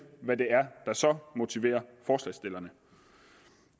hvad det er der så motiverer forslagsstillerne